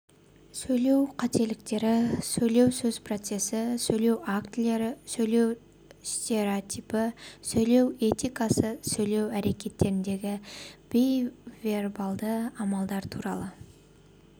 сөйлеу қателіктері сөз сөйлеу процесі сөйлеу актілері сөйлеу стереотипі сөйлеу этикасы сөйлеу әрекетіндегі бейвербалды амалдар туралы